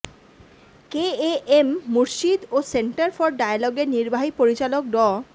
KAM Murshid ও centre for ডায়ালগের নির্বাহী পরিচালক ড